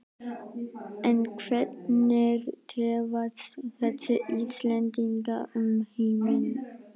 En hvernig dreifast þessi Íslendingar um heiminn?